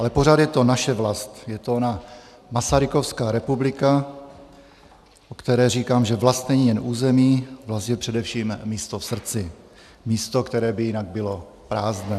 Ale pořád je to naše vlast, je to ona masarykovská republika, o které říkám, že vlast není jen území, vlast je především místo v srdci, místo, které by jinak bylo prázdné.